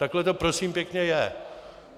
Takhle to, prosím pěkně, je.